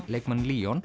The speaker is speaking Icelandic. leikmann